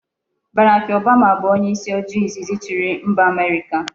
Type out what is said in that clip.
Barack Obama bu onye isi ojii izizi chiri mba America